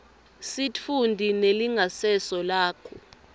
sitfunti nelingasese lakho